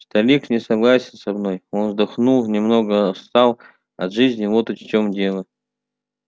старик не согласен со мной он вздохнул немного отстал от жизни вот в чём дело